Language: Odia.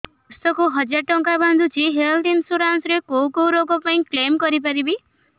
ମୁଁ ବର୍ଷ କୁ ହଜାର ଟଙ୍କା ବାନ୍ଧୁଛି ହେଲ୍ଥ ଇନ୍ସୁରାନ୍ସ ରେ କୋଉ କୋଉ ରୋଗ ପାଇଁ କ୍ଳେମ କରିପାରିବି